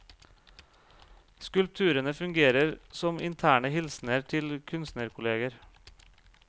Skulpturene fungerer som interne hilsener til kunstnerkolleger.